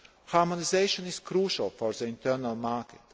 excessive. Harmonisation is crucial for the internal